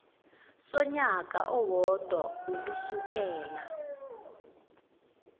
sonyaka owodwa ukusukela